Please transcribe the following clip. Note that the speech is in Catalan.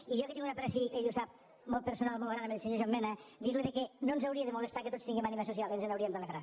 i jo que tinc un apreci ell ho sap molt personal molt gran al senyor joan mena dir·li que no ens hau·ria de molestar que tots tinguem ànima social ens n’hauríem d’alegrar